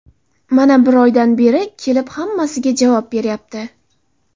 Mana bir oydan beri kelib, hammasiga javob beryapti.